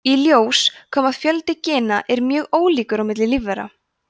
í ljós kom að fjöldi gena er mjög ólíkur á milli lífvera